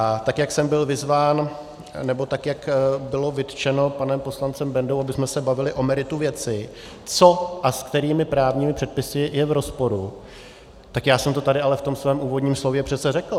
A tak jak jsem byl vyzván, nebo tak jak bylo vytčeno panem poslancem Bendou, abychom se bavili o meritu věci, co a s jakými právními předpisy je v rozporu, tak já jsem to tady ale v tom svém úvodním slově přece řekl.